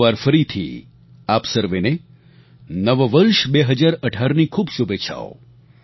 એક વાર ફરીથી આપ સર્વેને નવ વર્ષ 2018ની ખૂબ શુભેચ્છાઓ